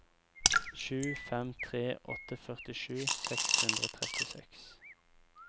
sju fem tre åtte førtisju seks hundre og trettiseks